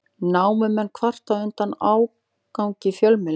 Námumenn kvarta undan ágangi fjölmiðla